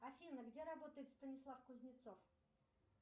афина где работает станислав кузнецов